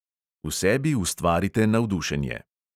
V sebi ustvarite navdušenje.